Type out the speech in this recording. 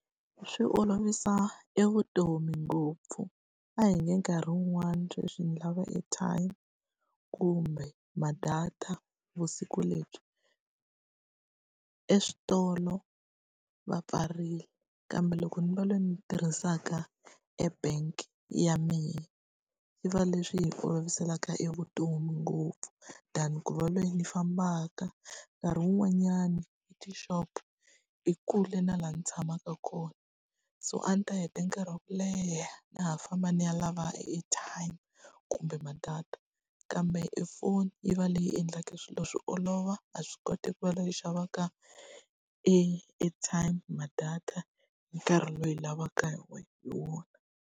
Swi olovisa e vutomi ngopfu. A hi nge nkarhi wun'wani sweswi ni lava airtime kumbe ma-data vusiku lebyi, eswitolo va pfarile, kambe loko ni va loyi ndzi tirhisaka e-bank ya mina swi va leswi hi oloviselaka e vutomi ngopfu. Than ku va loyi ndzi fambaka, nkarhi wun'wanyani etixopo i kule na laha ndzi tshamaka kona. So a ndzi ta heta nkarhi wa ku leha na ha famba ni ya lava airtime, kumbe ma-data. Kambe e foni yi va leyi endlaka swilo swi olova, ha swi koti ku va xavaka e airtime, ma-data hi nkarhi lowu lavaka hi hi wona.